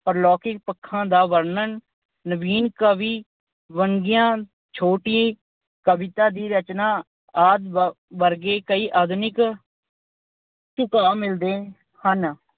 ਪਰਲੌਕਿਕ ਪੱਖਾਂ ਦਾ ਵਰਣਨ, ਨਵੀਨ ਕਵੀ, ਵੰਨਗੀਆਂ, ਛੋਟੀ ਕਵਿਤਾ ਦੀ ਰਚਨਾ ਆਦਿ ਵਰਗੇ ਕਈ ਆਧੁਨਿਕ ਝੁਕਾਅ ਮਿਲਦੇ ਹਨ।